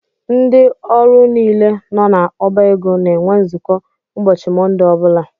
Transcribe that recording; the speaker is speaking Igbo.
Ndị ọrụ niile nọ na ọbá égo na - enwe nzukọ ụbọchị Monde ọbula.